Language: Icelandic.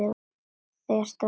Það er séð um allt.